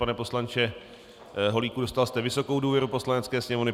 Pane poslanče Holíku, dostal jste vysokou důvěru Poslanecké sněmovny.